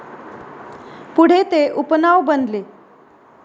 पुढे, ते उपनाव बनले.